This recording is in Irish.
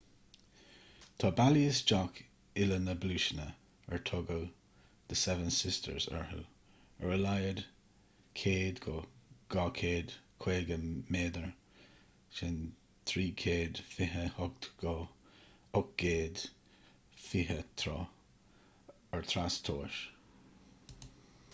tá bealaí isteach uile na bpluaiseanna ar tugadh the seven sisters orthu ar a laghad 100 go 250 méadar 328 go 820 troith ar trastomhas